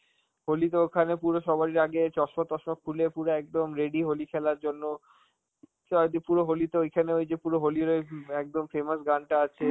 হোলি তো ওখানে পুরো ওখানে সবাই আগে চশমা টশমা খুলে পুরো একদম ready হোলি খেলার জন্য, চ দি~ পুরো হোলি তো ওইখানে ওই যে পুরো হোলির ওই উম একদম famous গানটা আছে